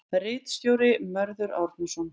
Ritstjóri Mörður Árnason.